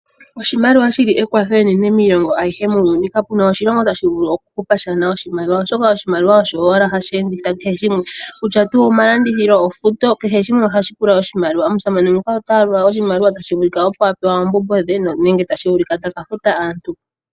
Oshimaliwa shili ekwatho enene miilongo ayihe muuyuni kapena oshilongo tashi vulu okuhupa shaana oshimaliwa oshoka oshimaliwa osho owala hashi enditha kehe shimwe kutya tuu omalandithilu, ofuto kehe shimwe ohashi pula oshimaliwa. Omusamane nguka otayalula oshimaliwa tashi vulika opo apewa oombumbo dhe nenge tashi vulika taka futa aantu.